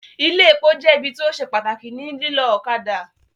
Ilé epo jẹ́ ibi tí ó se pàtàkì ní lílọ́ ọ̀kadà